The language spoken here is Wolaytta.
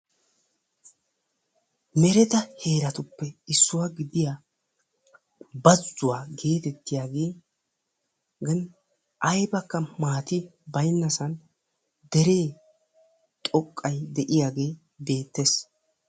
mereta heeratuppe issuwaa gidiya bazzuwa getettiyaagan aybbakka maata baynnassan dere xoqqay de'iyaage beettees.